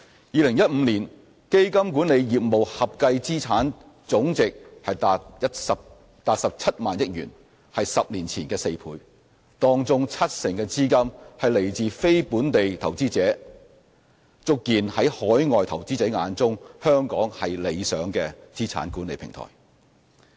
2015年，基金管理業務合計資產總值達17萬億元，是10年前的4倍，當中七成的資金來自非本地投資者，足見在海外投資者眼中，香港是理想的資產管理平台。